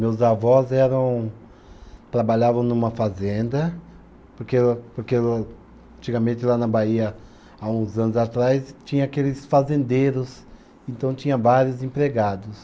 Meus avós eram, trabalhavam numa fazenda, porque o, porque o, antigamente lá na Bahia, há uns anos atrás, tinha aqueles fazendeiros, então tinha vários empregados.